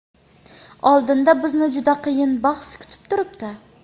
Oldinda bizni juda qiyin bahs kutib turibdi.